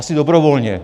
Asi dobrovolně.